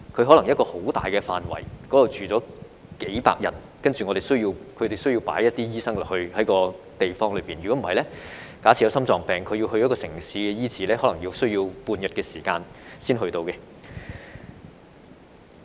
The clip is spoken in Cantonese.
可能一個很大範圍的地方只居住了數百人，然後他們需要有一些醫生在那些地方，否則假設居民有心臟病要到城市醫治，可能需時半天才到達。